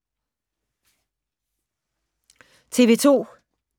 TV 2